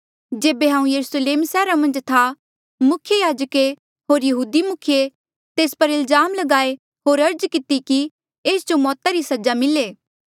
जेबे हांऊँ यरुस्लेम सैहरा मन्झ था मुख्य याजके होर यहूदी मुखिये तेस पर इल्जाम लगाए होर अर्ज किती कि एस जो मौता री सजा मिले